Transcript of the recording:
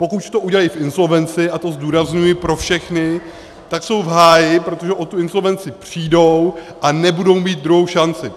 Pokud to udělají v insolvenci, a to zdůrazňuji pro všechny, tak jsou v háji, protože o tu insolvenci přijdou a nebudou mít druhou šanci.